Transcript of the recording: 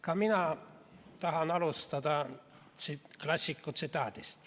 Ka mina tahan alustada klassiku tsitaadist.